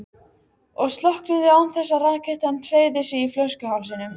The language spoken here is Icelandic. og slokknuðu án þess að rakettan hreyfði sig í flöskuhálsinum.